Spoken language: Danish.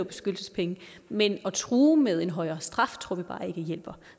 beskyttelsespenge men at true med en højere straf tror vi bare ikke hjælper